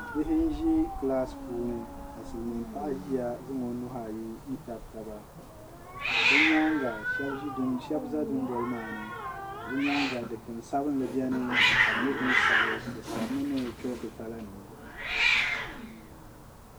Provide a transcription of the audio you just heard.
bihi n-ʒi kilasi puuni ka silimiinpaɣa ʒiya zaŋ o nuhi ayi n-tabi taba bɛ nyaaŋa shɛba za dunoli maa ni ka bɛ nyaaŋa dukpunsabinli beni ka di nyɛ din sabi di sabimi ni choki kalanima